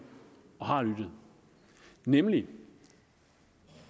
og har lyttet nemlig